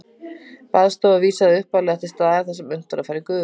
Baðstofa vísaði upphaflega til staðar þar sem unnt var að fara í gufubað.